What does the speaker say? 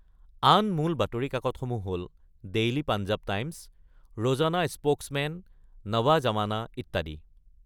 আন মূল বাতৰি কাকতসমূহ হ’ল Daily Punjab Times, Rozana Spokesman, Nawa Zamana, ইত্যাদি।